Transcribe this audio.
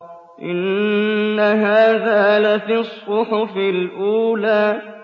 إِنَّ هَٰذَا لَفِي الصُّحُفِ الْأُولَىٰ